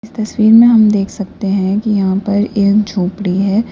तस्वीर में हम देख सकते हैं कि यहां पर एक झोपड़ी है।